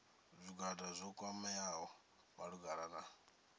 zwigwada zwo kwameaho malugana na